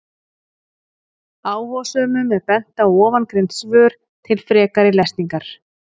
Áhugasömum er bent á ofangreind svör til frekari lesningar.